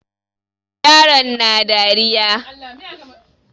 Yaron na dariya.